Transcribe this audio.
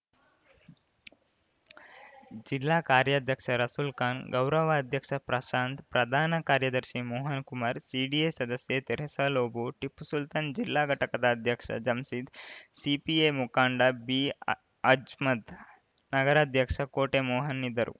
ಜಿಲ್ಲಾ ಕಾರ್ಯಾಧ್ಯಕ್ಷ ರಸುಲ್‌ಖಾನ್‌ ಗೌರವ ಅಧ್ಯಕ್ಷ ಪ್ರಶಾಂತ್‌ ಪ್ರಧಾನ ಕಾರ್ಯದರ್ಶಿ ಮೋಹನ್‌ಕುಮಾರ್‌ ಸಿಡಿಎ ಸದಸ್ಯೆ ತೆರಸಾಲೋಭೊ ಟಿಪ್ಪುಸುಲ್ತಾನ್‌ ಜಿಲ್ಲಾ ಘಟಕದ ಅಧ್ಯಕ್ಷ ಜಂಸಿದ್‌ ಸಿಪಿಐ ಮುಖಂಡ ಬಿಅಮ್ಜದ್‌ ನಗರಾಧ್ಯಕ್ಷ ಕೋಟೆ ಮೋಹನ್‌ ಇದ್ದರು